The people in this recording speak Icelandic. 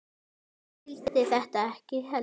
Hann skildi þetta ekki heldur.